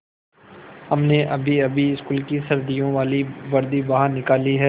हमने अभीअभी स्कूल की सर्दियों वाली वर्दी बाहर निकाली है